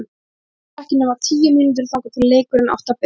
Það voru ekki nema tíu mínútur þangað til leikurinn átti að byrja!